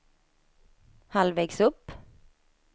halvvägs upp